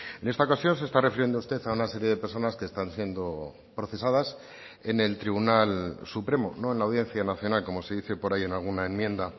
en esta ocasión se está refiriendo usted a una serie de personas que están siendo procesadas en el tribunal supremo no en la audiencia nacional como se dice por ahí en alguna enmienda